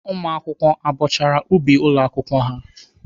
Ụmụakwụkwọ abọchara ubi ụlọ akwụkwọ ha?